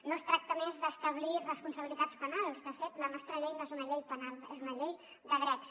no es tracta a més d’establir responsabilitats penals de fet la nostra llei no és una llei penal és una llei de drets